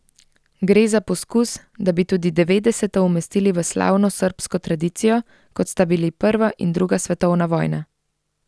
Gre za poskus, da bi tudi devetdeseta umestili v slavno srbsko tradicijo, kot sta bili prva in druga svetovna vojna.